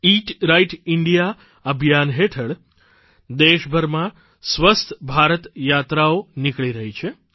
ઈટ right India અભિયાન હેઠળ દેશભરમાં સ્વસ્થ ભારત યાત્રાઓ નીકળી રહી છે